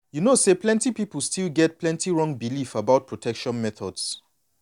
you know say plenty people still get plenty wrong belief about protection methods.